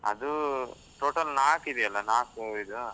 ಅದು total ನಾಲ್ಕು ಇದೆಯಲ್ಲ, ನಾಲ್ಕು ಇದು